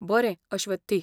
बरें, अश्वथी.